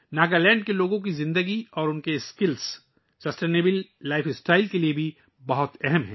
ناگالینڈ کے لوگوں کی زندگی اور ان کی مہارتیں بھی پائیدار طرز زندگی کے لئے بہت اہم ہیں